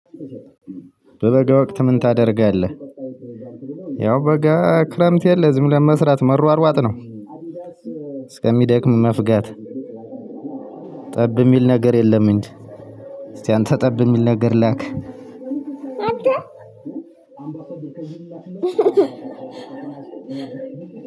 በበጋ ወቅት ምን ታደርጋለህ? ያው በጋ ክረምት የለ ዝም ብለን መስራት መሯሯጥ ነው እስከሚደክም መፍጋት። ጠብ የሚል ነገር የለም እንጂ። እስቲ አንተ ጠብ የሚል ነገር ላክ